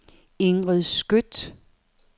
Ingrid Skøtt